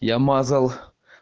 я мазал